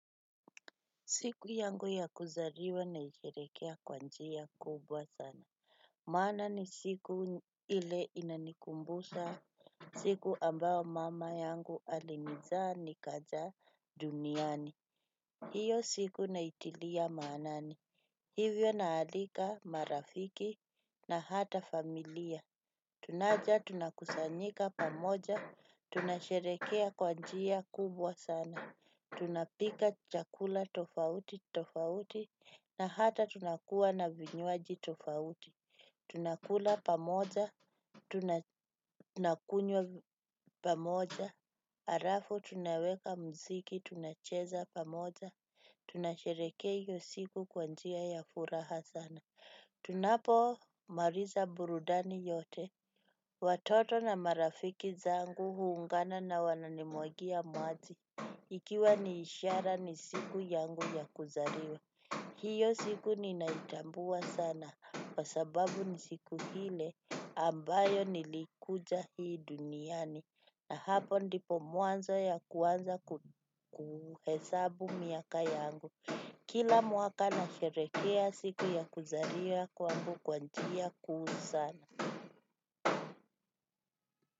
Siku yangu ya kuzariwa naisherekea kwa njia kubwa sana. Maana ni siku ile inanikumbusha siku ambao mama yangu alinizaa ni kaja duniani. Hiyo siku naitilia maanani. Hivyo naalika marafiki na hata familia. Tunaja tunakusanyika pamoja. Tunasherekea kwanjia kubwa sana. Tunapika chakula tofauti tofauti na hata tunakuwa na vinywaji tofauti tunakula pamoja tunakunywa pamoja alafu tunaweka muziki tunacheza pamoja. Tunasherekea iyo siku kwa njia ya furaha sana. Tunapo mariza burudani yote. Watoto na marafiki zangu huungana na wananimwagia maji. Ikiwa ni ishara ni siku yangu ya kuzaliwa. Hiyo siku ninaitambua sana. Kwa sababu ni siku hile ambayo nilikuja hii duniani. Na hapo ndipo mwanzo ya kuanza kuhesabu miaka yangu kila mwaka nasherehekea siku yangu ya kuzaliwa kwa njia kuu sana.